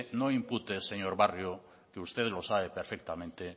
no impute señor barrio que usted lo sabe perfectamente